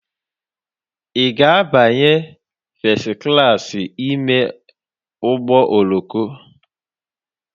Ị ga-abanye fes klaasị ime ụgbọ oloko?